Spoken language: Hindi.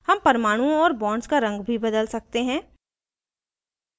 हम परमाणुओं और bonds का रंग भी बदल सकते हैं